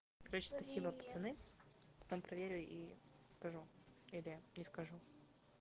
короче спасибо пацаны потом проверю и скажу или ни скажу